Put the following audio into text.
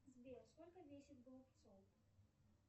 сбер сколько весит голубцов